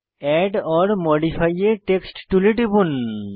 add or modify a text টুলে টিপুন